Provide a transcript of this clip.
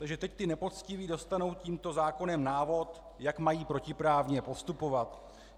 Takže teď ti nepoctiví dostanou tímto zákonem návod, jak mají protiprávně postupovat.